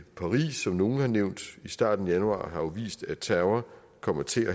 paris som nogle har nævnt i starten af januar har jo vist at terror kommer til